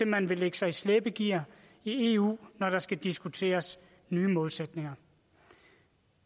man vil lægge sig i slæbegear i eu når der skal diskuteres nye målsætninger